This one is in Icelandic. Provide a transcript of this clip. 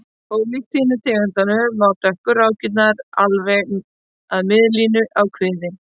Ólíkt hinum tegundunum ná dökku rákirnar alveg að miðlínu á kviði.